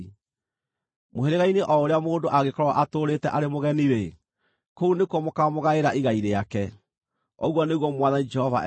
Mũhĩrĩga-inĩ o ũrĩa mũndũ angĩkorwo atũũrĩte arĩ mũgeni-rĩ, kũu nĩkuo mũkaamũgaĩra igai rĩake,” ũguo nĩguo Mwathani Jehova ekuuga.